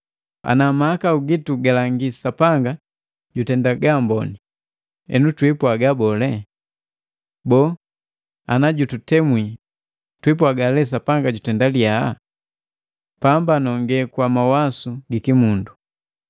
Ana mahakau gitu galangi Sapanga jutenda gaamboni, henu twiipwaga bole? Boo, ana jututemwi twiipwaga lee Sapanga jutenda liya. Pamba nonge kwa mawasu gikimundu.